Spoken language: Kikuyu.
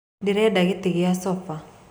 Ndĩreda gĩtĩ kĩa Sofa.